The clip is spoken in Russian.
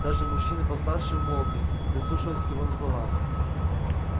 даже мужчины постарше умолкли прислушиваясь к его словам